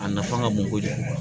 A nafa ka bon kojugu